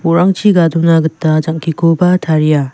bo·rangchi gadona gita jang·kikoba taria.